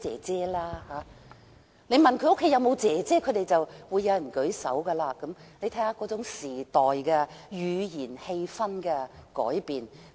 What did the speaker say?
問他們家中有沒有"姐姐"，便有人舉手，可見那種語言和氣氛已隨時代改變。